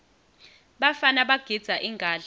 bafana bagidza ingadla